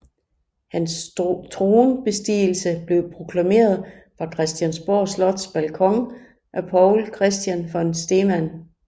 Hans tronbestigelse blev proklameret fra Christiansborg Slots balkon af Poul Christian von Stemann